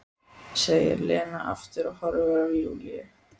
segir Lena aftur og horfir á Júlíu.